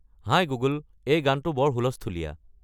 হাই Google, এই গানটো বৰ হূলস্থূলীয়া